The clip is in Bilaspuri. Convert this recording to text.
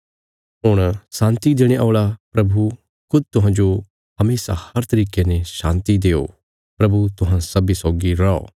हुण शान्ति देणे औल़ा प्रभु खुद तुहांजो हमेशा हर तरिके ने शान्ति देओ प्रभु तुहां सब्बीं सौगी रौ